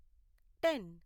ten